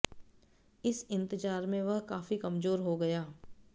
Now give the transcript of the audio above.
इस इंतजार में वह काफी कमजोर हो गया